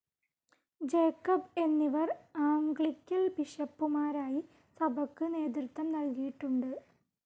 Jacob എന്നിവർ Anglican ബിഷപ്പുമാരായി സഭക്ക് നേതൃത്വം നൽകിയിട്ടുണ്ട്.